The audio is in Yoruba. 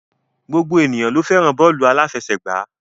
Gbogbo ènìyàn ló fẹ́ràn bọ́ọ́lù aláfẹsẹ̀gbá.